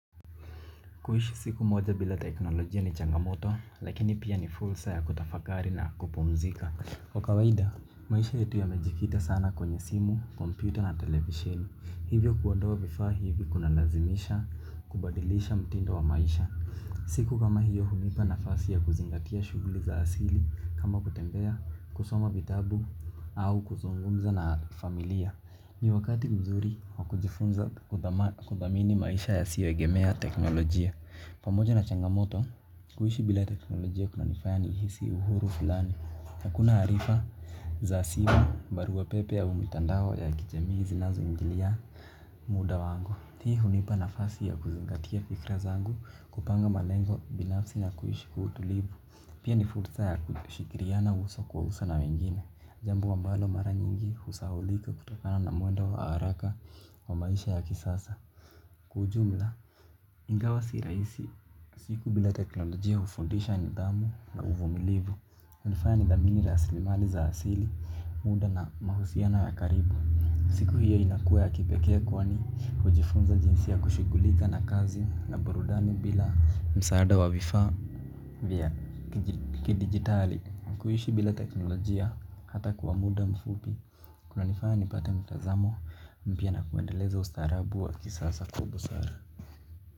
Kuishi siku moja bila teknolojia ni changamoto, lakini pia ni fulsa ya kutafakari na kupumzika. Kwa kawaida, maisha yetu yamejikita sana kwenye simu, kompyuta na televisheni. Hivyo kuondoa vifaa hivyo kuna lazimisha kubadilisha mtindo wa maisha. Siku kama hiyo hunipa nafasi ya kuzingatia shuguli za asili, kama kutembea, kusoma vitabu, au kuzungumza na familia. Ni wakati mzuri wakujifunza kudhamini maisha yasioegemea teknolojia. Pamoja na changamoto kuishi bila teknolojia kuna nifaya nihisi uhuru filani hakuna arifa za simu, barua pepe au mitandao ya kijamii zinazoingilia muda wangu hii hunipa nafasi ya kuziongatia fikra zangu kupanga malengo binafsi na kuhishi kwa utulivu. Pia ni fursa ya kushikiriana uso kwa uso na wengine. Jambo ambalo mara nyingi usaulika kutokana na mwendo wa haraka wa maisha ya kisasa. Kwa ujumla ingawa si raisi siku bila teknolojia hufundisha nidhamu na uvumilivu. Unifanya nidhamini rasilimali za asili muda na mahusiano ya karibu. Siku hiyo inakuwa kipekea kwani hujifunza jinsia kushigulika na kazi na burudani bila msaada wa vifaa vya kidigitali. Kuhishi bila teknolojia hata kwa muda mfupi kuna nifanya nipata mtazamo mpya na kuendeleza ustarabu wa kisasa kubusara.